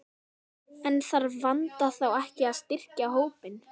En þarf Vanda þá ekki að styrkja hópinn?